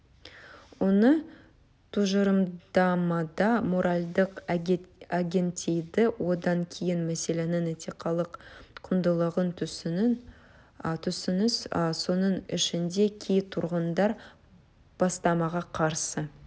оны тұжырымдамада моральдық агентдейді одан кейін мәселенің этикалық құндылығын түсініңіз соның ішінде кей тұрғындар бастамаға қарсы